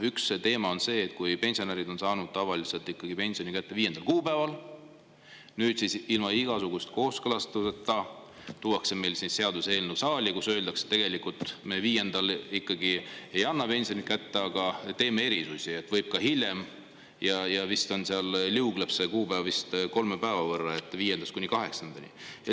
Üks teema on see, et pensionärid on saanud tavaliselt pensioni kätte 5. kuupäeval, aga nüüd, ilma igasuguse kooskõlastuseta tuuakse meile siia saali seaduseelnõu, milles öeldakse, et tegelikult me 5. kuupäeval ikkagi ei anna pensioni kätte, vaid teeme erisusi, võib ka hiljem, ja see kuupäev vist liugleb seal kolme päeva võrra, viiendast kuni kaheksandani.